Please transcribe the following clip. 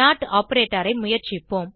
note operator ஐ முயற்சிப்போம்